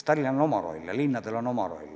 Tallinnal on oma roll ja muudel linnadel on oma roll.